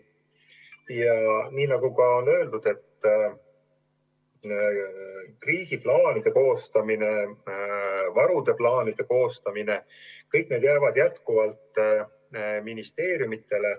Ja nagu ka öeldud, kriisiplaanide koostamine ja varude plaanide koostamine – kõik see jääb jätkuvalt ministeeriumidele.